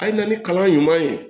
A ye na ni kalan ɲuman ye